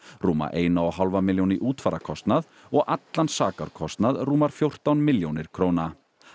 rúma eina og hálfa milljón í útfararkostnað og allan sakarkostnað rúmar fjórtán milljónir króna